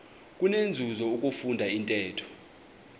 kunenzuzo ukufunda intetho